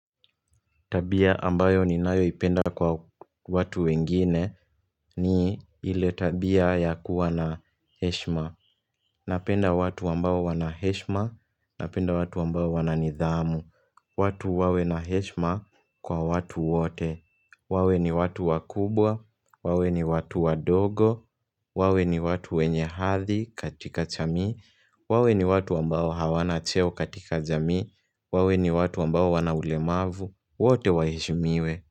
Tabia ambayo ninayoipenda kwa watu wengine ni ile tabia ya kuwa na heshima. Napenda watu ambao wana heshima, napenda watu ambao wana nidhamu. Watu wawe na heshima kwa watu wote. Wawe ni watu wakubwa, wawe ni watu wadogo, wawe ni watu wenye hadhi katika jamii wawe ni watu ambao hawana cheo katika jamii, wawe ni watu ambao wana ulemavu. Wote wahe shimiwe.